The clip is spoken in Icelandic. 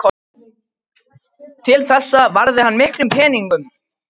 Til þessa varði hann miklum peningum.